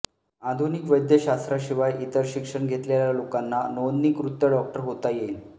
आधुनिक वैद्यशास्त्राशिवाय इतर शिक्षण घेतलेल्या लोकांना नोंदणीकृत डॉक्टर होता येईल